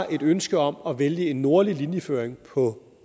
ønske om at vælge en nordlig linjeføring på